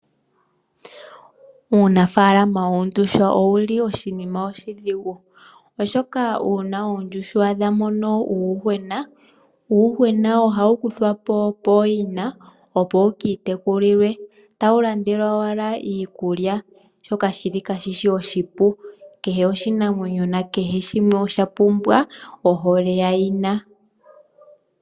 Uunafaalama woondjuhwa owuli oshinima oshidhigu oshoka uuna oondjuhwa dha tendula uuyuhwena uuyuhwena ohawu kuthwapo pooyina opo wukiitekulilwe tawu landelwa owala iikulya shoka shi li kaashishi oshipu kehe oshinamwenyo nakehe shimwe osha pumbwa ohole ya yina.